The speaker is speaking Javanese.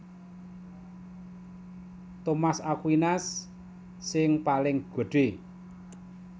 Thomas Aquinas sing paling gedhé